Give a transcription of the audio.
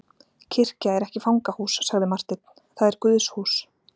Kirkja er ekki fangahús, sagði Marteinn,-það er Guðshús.